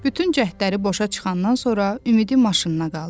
Bütün cəhdləri boşa çıxandan sonra ümidi maşınına qaldı.